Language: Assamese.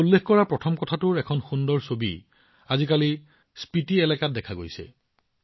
মই উল্লেখ কৰা প্ৰথম শিক্ষণৰ এখন ধুনীয়া ছবি আজিকালি স্পিতি এলেকাত দেখা গৈছে